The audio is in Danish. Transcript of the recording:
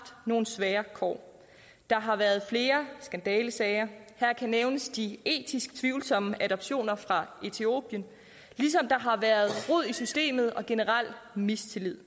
nogle svære kår der har været flere skandalesager her kan nævnes de etisk tvivlsomme adoptioner fra etiopien ligesom der har været rod i systemet og generel mistillid